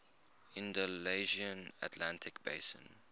andalusian atlantic basin